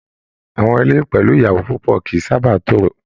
Àwọn ilé pẹlú ìyàwó púpọ kìí sábà n toro.